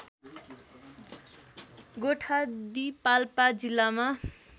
गोठादी पाल्पा जिल्लामा